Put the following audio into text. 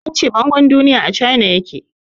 An ce bangon duniya a Cana ya ke.